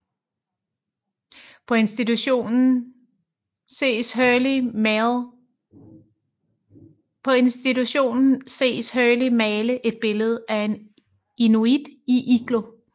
På institutionen ses Hurley male et billede af en inuit i iglo